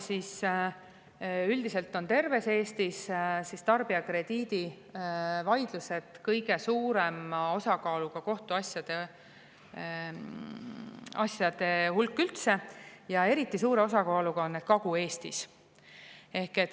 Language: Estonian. Üldiselt on terves Eestis tarbijakrediidivaidlused kõige suurema osakaaluga kohtuasjade hulgas ja eriti suure osakaaluga on need Kagu-Eestis.